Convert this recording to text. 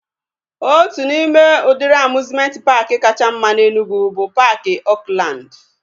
Otu n'ime udịri amiuzmenti paaki kacha mma na Enugwu bụ paaki Oakland